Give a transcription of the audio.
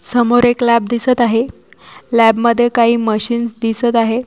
समोर एक लॅब दिसत आहे लॅब मध्ये काही मशिन्स दिसत आहे.